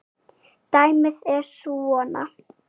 Dæmið er svona